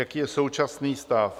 Jaký je současný stav?